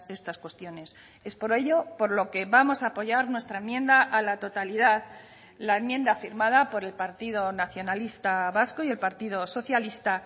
estas cuestiones es por ello por lo que vamos a apoyar nuestra enmienda a la totalidad la enmienda firmada por el partido nacionalista vasco y el partido socialista